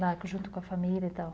Lá junto com a família e tal.